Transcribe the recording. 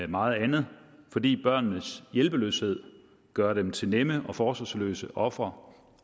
meget andet fordi børnenes hjælpeløshed gør dem til nemme og forsvarsløse ofre